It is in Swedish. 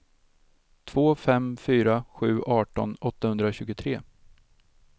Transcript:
två fem fyra sju arton åttahundratjugotre